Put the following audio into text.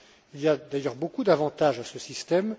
Il y a d'ailleurs beaucoup d'avantages à ce système.